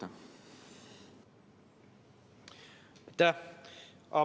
Aitäh!